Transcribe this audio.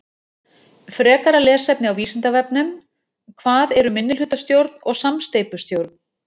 Frekara lesefni á Vísindavefnum: Hvað eru minnihlutastjórn og samsteypustjórn?